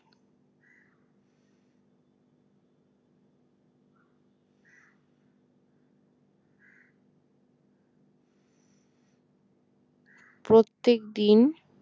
প্রত্যেকদিন